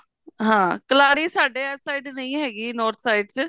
ਹਾਂ ਕਲਹਾੜੀ ਸਾਡੇ ਇਸ side ਨਹੀਂ ਹੈਗੀ north side ਚ